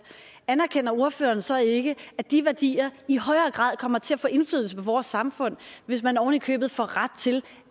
anerkender ordføreren så ikke at de værdier i højere grad kommer til at få indflydelse på vores samfund hvis man oven i købet får ret til